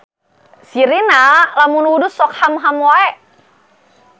Si Rina lamun wudhu sok hamham wae